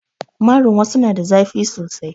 Marin wassu na da zafi sosai